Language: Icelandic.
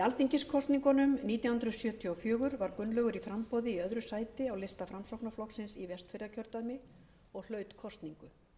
alþingiskosningunum nítján hundruð sjötíu og fjögur var gunnlaugur í framboði í öðru sæti á lista framsóknarflokksins í vestfjarðakjördæmi og hlaut kosningu